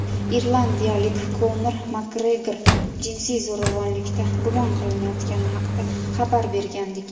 irlandiyalik Konor Makgregor jinsiy zo‘ravonlikda gumon qilinayotgani haqida xabar bergandik.